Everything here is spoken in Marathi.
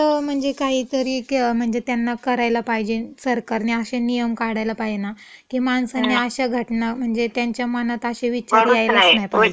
- आणि असं म्हणजे काहीतरी म्हणजे त्यांना करायला पाहिजे सरकारने अशे नियम काढायला पाहेना, की माणसांनी अशा घटना म्हणजे त्यांच्या मनात अशे विचार यायलाच नाही पाहिजे. भरूच नये.